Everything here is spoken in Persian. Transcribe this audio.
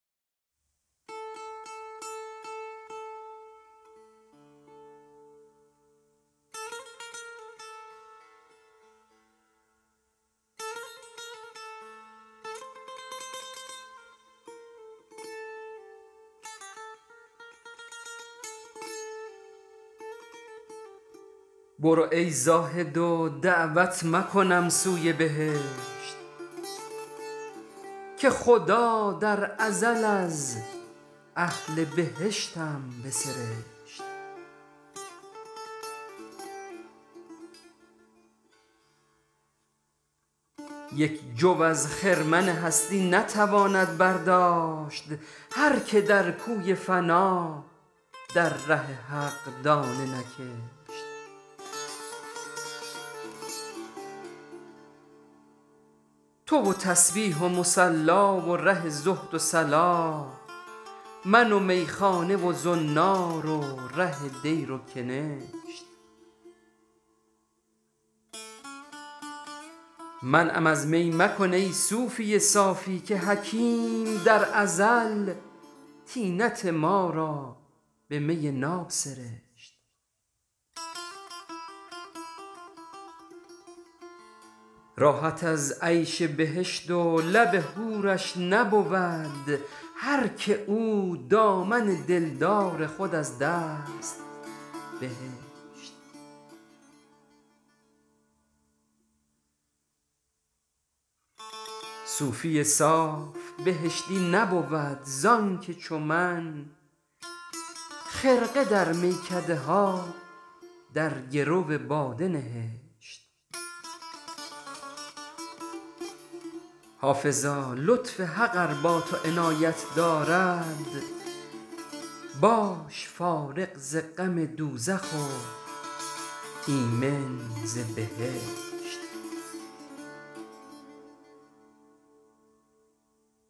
برو ای زاهد و دعوت مکنم سوی بهشت که خدا در ازل از اهل بهشتم بسرشت یک جو از خرمن هستی نتواند برداشت هر که در کوی فنا در ره حق دانه نکشت تو و تسبیح و مصلا و ره زهد و صلاح من و میخانه و زنار و ره دیر و کنشت منعم از می مکن ای صوفی صافی که حکیم در ازل طینت ما را به می ناب سرشت راحت از عیش بهشت و لب حورش نبود هر که او دامن دلدار خود از دست بهشت صوفی صاف بهشتی نبود زآنکه چو من خرقه در میکده ها در گرو باده نهشت حافظا لطف حق ار با تو عنایت دارد باش فارغ ز غم دوزخ و ایمن ز بهشت